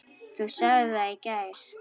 Þú sagðir það í gær.